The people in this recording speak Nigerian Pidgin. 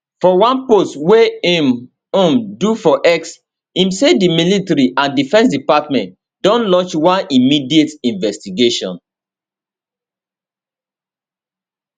for one post wey im um do for x im say di military and defence department don launch one immediate investigation